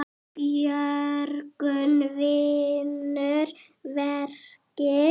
Björgun vinnur verkið.